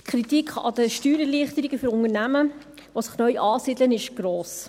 Die Kritik an der Steuererleichterung für Unternehmen, die sich neu ansiedeln, ist gross.